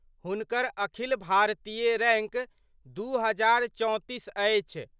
हुनकर अखिल भारतीय रैंक 2034 अछि।